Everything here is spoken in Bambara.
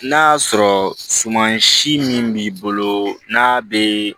N'a y'a sɔrɔ suman si min b'i bolo n'a bɛ